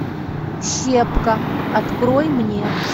щепка открой мне